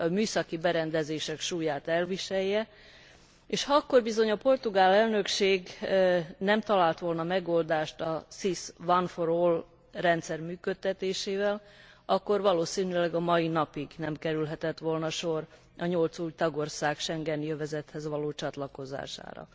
a műszaki berendezések súlyát elviselje, és ha akkor bizony a portugál Elnökség nem talált volna megoldást a SIS one for all rendszer működtetésére, akkor valószínűleg a mai napig nem kerülhetett volna sor a nyolc új tagország schengeni övezethez való csatlakozására.